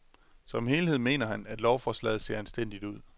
Som helhed mener han, at lovforslaget ser anstændigt ud.